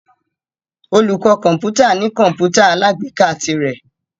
Olùkọ́ kọ̀ǹpútà ní kọ̀ǹpútà alágbèéká tirẹ̀.